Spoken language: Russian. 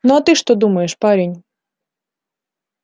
ну а ты что думаешь парень